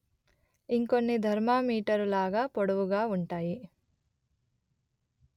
ఇంకొన్ని thermometer లాగ పొడవుగా వుంటాయి